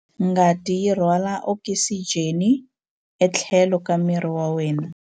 Ngati yi rhwala okisijeni etlhelo ka miri wa wena.